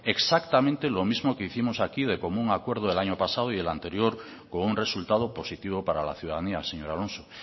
exactamente lo mismo que hicimos aquí de común acuerdo el año pasado y el anterior con un resultado positivo para la ciudadanía señor alonso